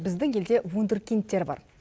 біздің елде вундеркиндтер бар